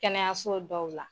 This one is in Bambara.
Kɛnɛyaso dɔw la.